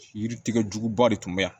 Yiri tigɛ juguba de tun bɛ yan